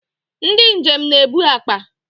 Ndị njem na-ebu akpa